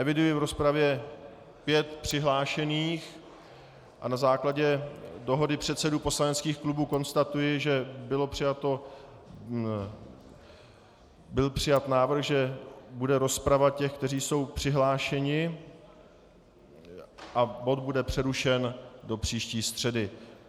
Eviduji v rozpravě pět přihlášených a na základě dohody předsedů poslaneckých klubů konstatuji, že byl přijat návrh, že bude rozprava těch, kteří jsou přihlášeni, a bod bude přerušen do příští středy.